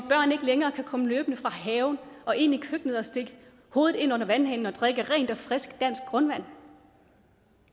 længere kan komme løbende fra haven og ind i køkkenet og stikke hovedet ind under vandhanen og drikke rent og frisk dansk grundvand